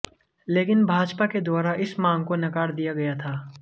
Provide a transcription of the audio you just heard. लेकिन भाजपा के द्वारा इस मांग को नकार दिया गया था